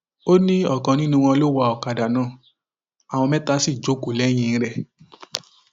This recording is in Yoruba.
ó ní ọkan nínú wọn ló ń wá ọkadà náà àwọn mẹta sì jókòó lẹyìn rẹ